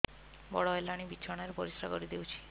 ବଡ଼ ହେଲାଣି ବିଛଣା ରେ ପରିସ୍ରା କରିଦେଉଛି